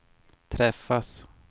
träffas